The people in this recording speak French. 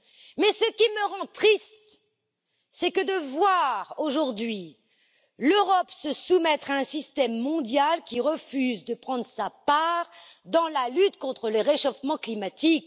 Mais ce qui me rend triste, c'est de voir aujourd'hui l'Europe se soumettre à un système mondial qui refuse de prendre sa part dans la lutte contre le réchauffement climatique.